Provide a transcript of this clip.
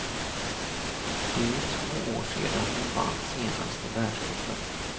Det är ju två år sedan hon vann senast i världscupen.